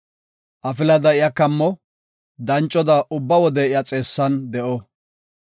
Afilada iya kammo; dancoda ubba wode iya xeessan de7o.